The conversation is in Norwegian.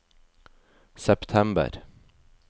september